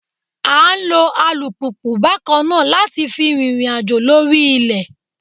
À ń lo alùpùpù bákan náà láti fi rìnrìn àjò lórí ilẹ̀